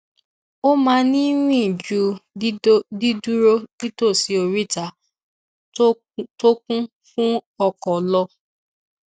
ó máa ń rìn ju dídúró nítòsí oríta tó kún fún ọkọ lọ